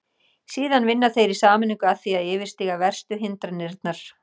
Síðan vinna þeir í sameiningu að því að yfirstíga verstu hindranirnar.